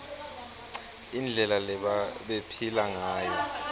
indlela lebabephila ngayo